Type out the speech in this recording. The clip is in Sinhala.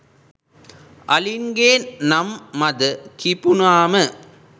අලින්ගේ නම් මද කිපුණාම